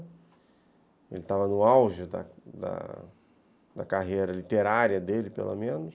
Ele estava no auge da carreira literária dele, pelo menos.